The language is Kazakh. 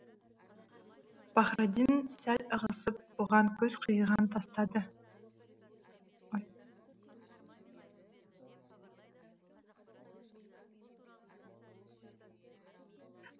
пахраддин сәл ығысып бұған көз қиығын тастады